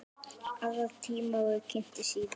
Aðrir tímar verða kynntir síðar.